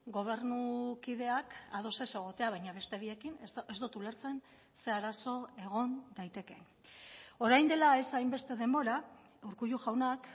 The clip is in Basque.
gobernukideak ados ez egotea baina beste biekin ez dut ulertzen ze arazo egon daitekeen orain dela ez hainbeste denbora urkullu jaunak